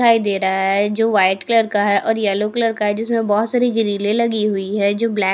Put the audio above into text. दिखाई दे रहा है जो वाइट कलर का है और येलो कलर का है जिसमें बहुत सारी ग्रीले लगी हुई है जो ब्लैक --